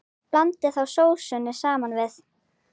Blandið þá sósunni saman við.